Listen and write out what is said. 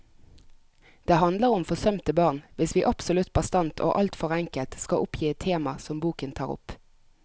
Det handler om forsømte barn, hvis vi absolutt bastant og alt for enkelt skal oppgi et tema som boken tar opp.